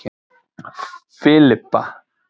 Filippa